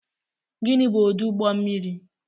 Gịnị bụ ọdụ ụgbọ mmiri